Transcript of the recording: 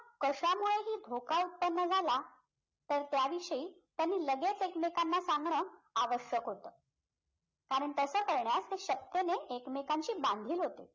कशामुळेही धोका उत्तपन झाला तर त्याविषयी त्यांनी लगेच एकमेकांना सांगणं आवश्यक होतं कारण तसं करण्यास ते शपथेने एकमेकांशी बांधील होते